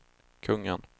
kungen